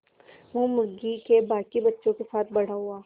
वो मुर्गी के बांकी बच्चों के साथ बड़ा हुआ